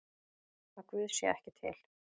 Að Guð sé ekki til?